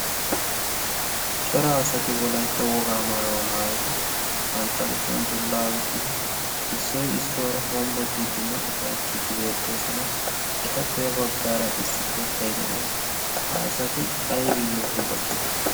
cora asati wolaitta wogaa maayuwaa maayidi bantta kushen dullaa oyqqidi issoy issuwaara hombbo ciiddinne ufayttiiddi beettoosona etappey baggaara issi keettay de'ees ha asati aybiyyo hombbo cihana?